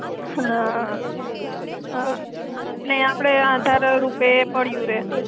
હા હા ને આપડે આધાર રુપે પડ્યુ રે.